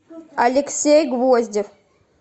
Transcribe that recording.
алексей гвоздев